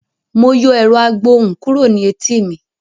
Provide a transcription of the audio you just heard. Mo yọ ẹ̀rọ-agbohùn kúrò ní etí mi.